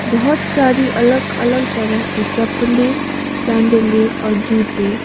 बहोत सारी अलग अलग तरह की चप्पले सैंडले और जूते--